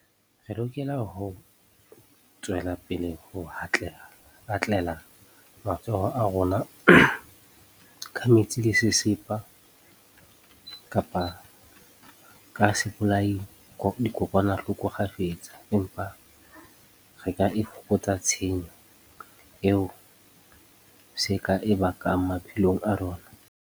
Re lokela ho tswela pele ho hatlela matsoho a rona ka metsi le sesepa kapa ka sebolayadikokwanahloko kgafetsa. Empa re ka e fokotsa tshenyo eo se ka e bakang maphelong a rona.